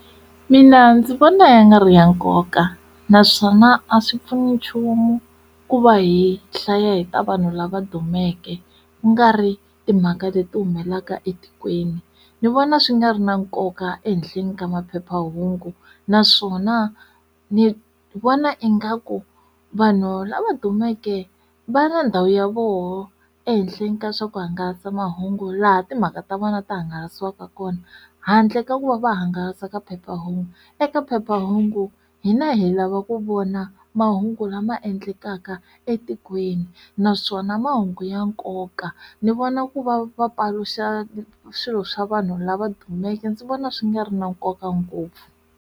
Mina ndzi vona ya nga ri ya nkoka naswona a swi pfuni nchumu ku va hi hlaya hi ta vanhu lava dumeke ku nga ri timhaka leti humelelaka etikweni ni vona swi nga ri na nkoka ehenhleni ka maphephahungu naswona ni vona ingaku vanhu lava dumeke va na ndhawu ya voho ehenhleni ka swa ku hangalasa mahungu laha timhaka ta vona ta hangalasiwaka kona handle ka ku va va hangalasa ka phephahungu eka phephahungu hina hi lava ku vona mahungu lama endlekaka etikweni naswona mahungu ya nkoka ni vona ku va va paluxa swilo swa vanhu lava dumeke ndzi vona swi nga ri na nkoka ngopfu.